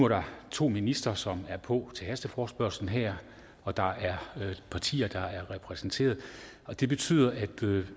der to ministre som er på til hasteforespørgslen her og der er partier der er repræsenteret og det betyder at